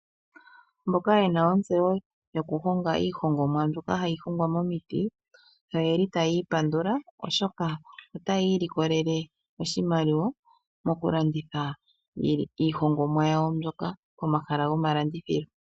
Mboka ye na ontseyo yokuhonga iihongomwa mbyoka hayi hongwa momiti otaya ipandula, oshoka otaya ilikolele oshimaliwa mokulanditha iihongomwa yawo mbyoka pomahala gomalandithilo.